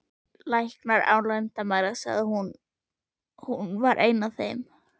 Læknar án landamæra, hún var ein af þeim.